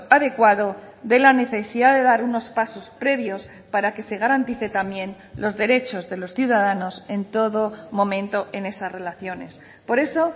adecuado de la necesidad de dar unos pasos previos para que se garantice también los derechos de los ciudadanos en todo momento en esas relaciones por eso